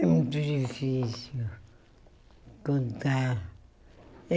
É muito difícil contar. É